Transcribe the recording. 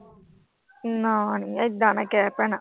ਨਾ ਨੀ, ਇਦਾਂ ਨਾ ਕਹਿ ਭੈਣਾ।